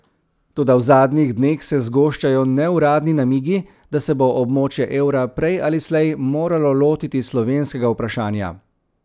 Toda v zadnjih dneh se zgoščajo neuradni namigi, da se bo območje evra prej ali slej moralo lotiti slovenskega vprašanja.